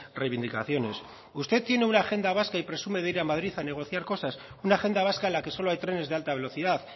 reivindicaciones usted tiene una agenda vasca y presume de ir a madrid a negociar cosas una agenda vasca en la que solo hay trenes de alta velocidad